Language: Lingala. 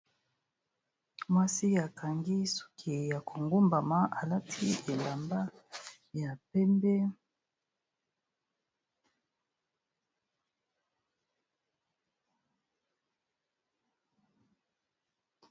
Mwasi akangi suki ya kongumbama, halati elamba ya pembe.